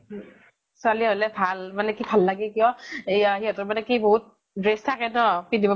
ছোৱালী হʼলে ভাল, মানে কি ভাল লাগে কিয় এয়া সিহঁতৰ মানে কি বহুত dress থাকে তʼ পিন্ধিব